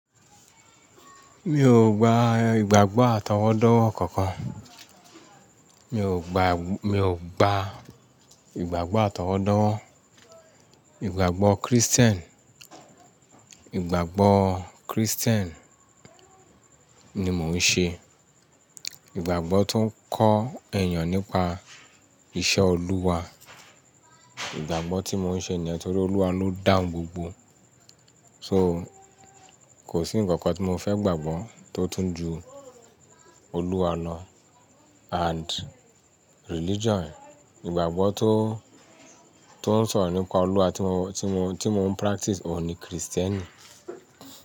Mi ò gba ìgbàgbọ́ atọwọ́dọ́wọ́ kankan. Mi ò gba, mi ò gba ìgbàgbọ́ atọwọ́dọ́wọ́. Ìgbàgbọ́ Christian, ìgbàgbọ́ Christian ni mò ń ṣe. Ìgbàgbọ́ tó ń kọ́ èèyàn nípa iṣẹ́ Olúwa. Ìgbàgbọ́ tí mò ń ṣe ni nítorí Olúwa ló dàńgbọ̀ gbogbo. So kò sí ǹkankan tí mo fẹ́ gbàgbọ́ tó tún ju Olúwa lọ and religion. Ìgbàgbọ́ tó, tó ń sọ̀rọ̀ nípa Olúwa tí mo, tí mo, tí mò ń practice òun ni Christianity.